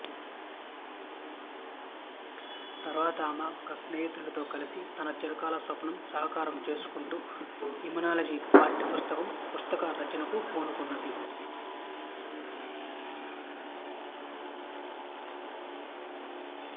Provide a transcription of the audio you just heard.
తరువాత ఆమె ఒకస్నేహితునితో కలిసి తనచిరకాల స్వప్నం సాకారం చేసుకుంటూ ఇమ్యూనాలజీ పాఠ్యపుస్తకం పుస్తక రచనకు పూనుకున్నది